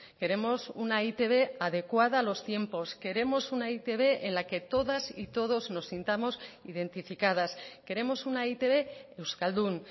queremos una e i te be adecuada a los tiempos queremos una e i te be en la que todas y todos nos sintamos identificadas queremos una e i te be euskaldun